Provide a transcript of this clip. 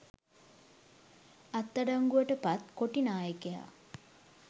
අත්අඩංගුවට පත් කොටි නායකයා